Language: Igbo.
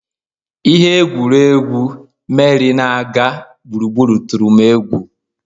Ihe egwuregwu, Meri na-aga gburugburu tụrụ m egwu